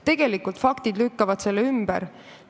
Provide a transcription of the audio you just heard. Tegelikult lükkavad faktid selle ümber.